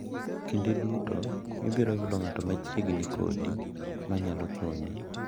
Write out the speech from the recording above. Kinde duto ibiro yudo ng’at machiegni kodi ma nyalo konyi.